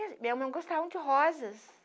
eu não gostava de rosas.